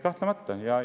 Kahtlemata!